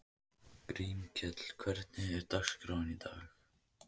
Grímkell, hvernig er dagskráin í dag?